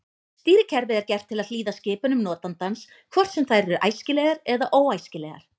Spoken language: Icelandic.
Stýrikerfið er gert til að hlýða skipunum notandans hvort sem þær eru æskilegar eða óæskilegar.